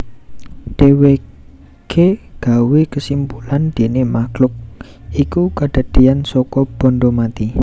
Dhéwéké gawé kesimpulan déné makhluk iku kedadéyan saka banda mati